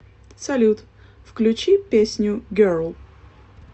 салют включи песню герл